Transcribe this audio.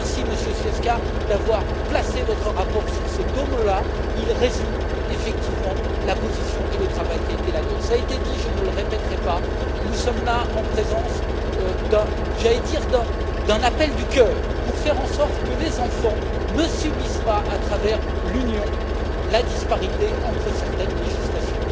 Merci, Monsieur Zwiefka, d'avoir fondé votre rapport sur ces deux notions elles résument, effectivement, la position et le travail qui ont été les nôtres. Cela a été dit je ne le répéterai pas nous sommes là en présence d'un appel du cœur, pour faire en sorte que les enfants ne subissent pas, à travers l'Union, la disparité entre certaines législations.